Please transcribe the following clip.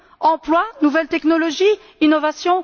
Emploi, nouvelles technologies, innovation?